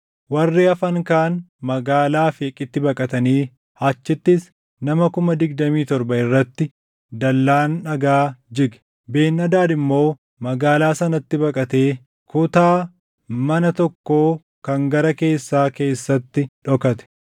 Warri hafan kaan magaalaa Afeeqitti baqatanii achittis nama kuma digdamii torba irratti dallaan dhagaa jige. Ben-Hadaad immoo magaalaa sanatti baqatee kutaa mana tokkoo kan gara keessaa keessatti dhokate.